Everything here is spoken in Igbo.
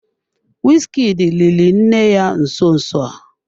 Wizkid liri nne ya nso nso a.